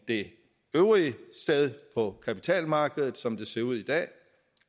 det øvrige kapitalmarked som det ser ud i dag